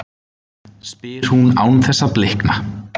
spyr hún án þess að blikna.